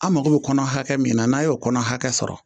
An mako bɛ kɔnɔ hakɛ min na n'an y'o kɔnɔ hakɛ sɔrɔ